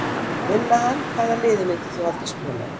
Vinna hann Hvaða liði myndir þú aldrei spila með?